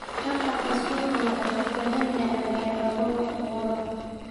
Tartanka suuqa waxa uu u baahan yahay xeelado wax ku ool ah.